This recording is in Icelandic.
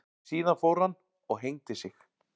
Síðan fór hann og hengdi sig.